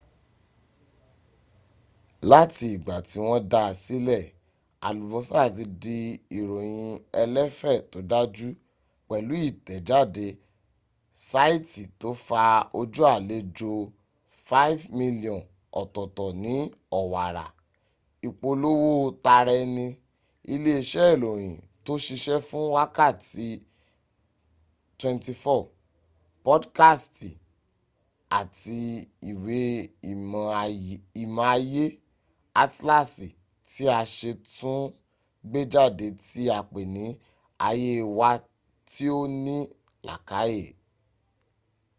láti ìgbà tí wọ́n dáa sílẹ̀ alubosa ti di ìròyìn ẹlẹ́fẹ́ tó dáju pẹ̀lú ìtẹ̀jáde saiti to fa ojú alejò 5,000,000 ọ̀tọ̀tọ̀ ní owara ipolowo tara eni ilé iṣẹ́ ìròyìn tò ṣiṣe fún wákàtí 24 podkasti àti ìwé ìmọ̀ ayé - atlasi ti a ṣẹ̀ tún gbéjáde tí apé ni aye wa tí ò ní làakáyè